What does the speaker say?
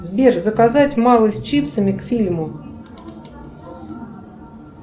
сбер заказать малый с чипсами к фильму